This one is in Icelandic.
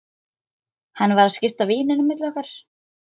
Hann var að skipta víninu á milli okkar!